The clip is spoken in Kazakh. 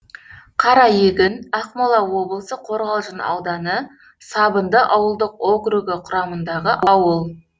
қараегін ақмола облысы қорғалжын ауданы сабынды ауылдық округі құрамындағы ауыл